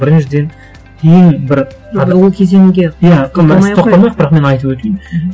біріншіден ең бір енді ол кезеңге бірақ мен айтып өтейін мхм